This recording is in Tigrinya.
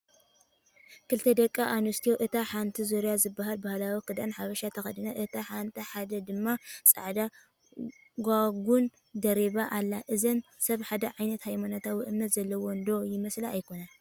ክልተ ደቒ ኣነስትዮ እታ ሓንቲ ዙርያ ዝበሃል ባህላዊ ክዳን ሓበሻ ተኸዲና ኣላ እታ ሓንቲ ድማ ፃዕዳ ጋጉን ደሪባ ኣላ፡ እዘን ሰብ ሓደ ዓይነት ሃይማኖታዊ እምነት ዘለዎን ' ዶ ይመስላስ ኣይኮናን ?